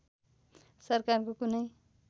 सरकारको कुनै